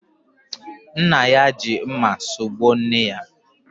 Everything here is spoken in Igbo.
Nna ya ji mma sugbuo nne ya